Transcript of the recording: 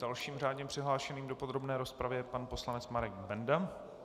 Dalším řádně přihlášeným do podrobné rozpravy je pan poslanec Marek Benda.